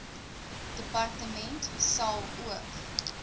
departement sal ook